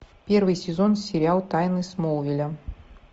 первый сезон сериал тайны смолвиля